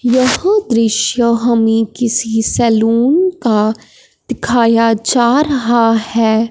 यह दृश्य हमें किसी सैलून का दिखाया जा रहा है।